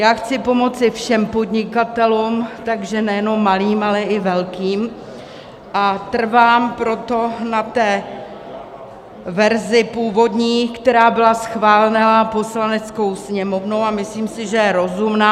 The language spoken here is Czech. Já chci pomoci všem podnikatelům, takže nejenom malým, ale i velkým, a trvám proto na té verzi původní, která byla schválena Poslaneckou sněmovnou, a myslím si, že je rozumná.